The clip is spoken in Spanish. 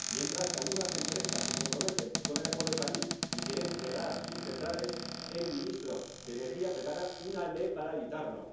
Mientras que algunas empresas se comprometen con el Acuerdo de París y quieren cerrar sus centrales, el ministro de Energía prepara una ley para evitarlo.